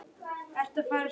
spurði Sóley Björk mig.